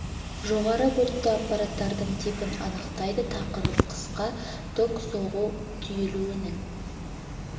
жоғары вольтті аппараттардың типін анықтайды тақырып қысқа ток соғу түйілуінің